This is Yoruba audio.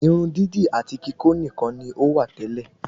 Irun dídì àti kikó nikan ni ó wà tẹ́lẹ̀